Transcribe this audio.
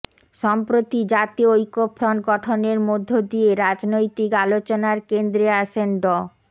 সম্প্রতি জাতীয় ঐক্যফ্রন্ট গঠনের মধ্য দিয়ে রাজনৈতিক আলোচনার কেন্দ্রে আসেন ড